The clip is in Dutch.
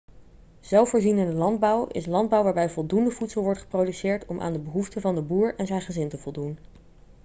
zelfvoorzienende landbouw is landbouw waarbij voldoende voedsel wordt geproduceerd om aan de behoeften van de boer en zijn gezin te voldoen